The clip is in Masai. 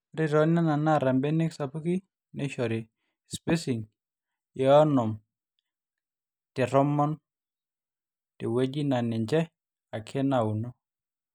ore tooneno naata mbenek sapuki neishori spacing e 50×10cm tewueji naa ninje ake naauno